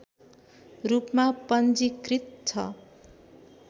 रूपमा पञ्जीकृत छ